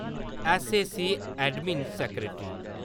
ऐस्सएसी-अडमिन secretary